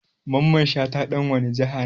Mamman shata ɗan wane jiha ne?